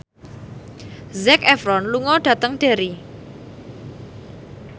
Zac Efron lunga dhateng Derry